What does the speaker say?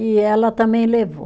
E ela também levou.